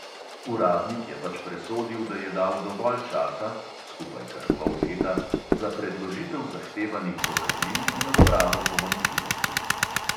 Uradnik je pač presodil, da je dal dovolj časa (skupaj kar pol leta) za predložitev zahtevanih dokazil in odpravo pomanjkljivosti.